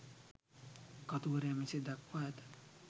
කතුවරයා මෙසේ දක්වා ඇත.